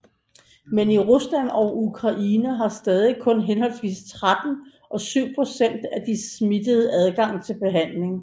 Men i Rusland og Ukraine har stadig kun henholdsvis 13 og 7 procent af de smittede adgang til behandling